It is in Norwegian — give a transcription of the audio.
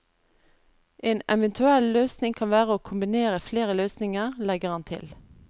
En eventuell løsning kan være å kombinere flere løsninger, legger han til.